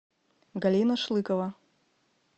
галина шлыкова